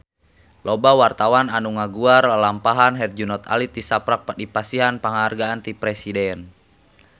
Loba wartawan anu ngaguar lalampahan Herjunot Ali tisaprak dipasihan panghargaan ti Presiden